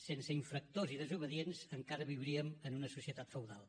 sense infractors i desobedients encara viuríem en una societat feudal